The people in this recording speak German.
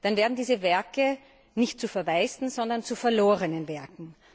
Dann werden diese Werke nicht zu verwaisten, sondern zu verlorenen Werken.